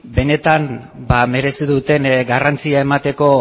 benetan merezi duten garrantzia emateko